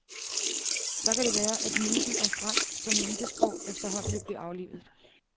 Så kan det være, at myten om fransk som elitesprog efterhånden vil blive aflivet.